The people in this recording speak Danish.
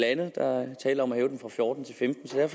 andet der er tale om at hæve den fra fjorten til femtende